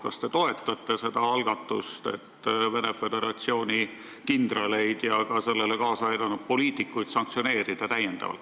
Kas te toetate seda algatust, et Venemaa Föderatsiooni kindraleid ja sellele kõigele kaasa aidanud poliitikuid täiendavalt sanktsioneerida?